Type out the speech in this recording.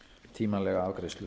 tímanlega afgreiðslu